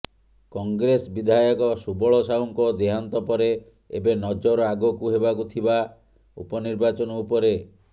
କଂଗ୍ରେସ ବିଧାୟକ ସୁବଳ ସାହୁଙ୍କ ଦେହାନ୍ତ ପରେ ଏବେ ନଜର ଆଗକୁ ହେବାକୁ ଥିବା ଉପନିର୍ବାଚନ ଉପରେ